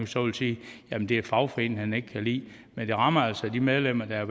så vil sige at det er fagforeningerne han ikke kan lide men det rammer altså de medlemmer der